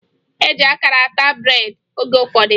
E ji akara ata breedị oge ụfọdụ